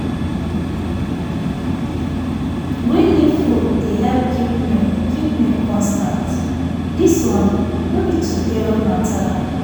green leaf food dey help keep milk keep milk constant. this one no be today matter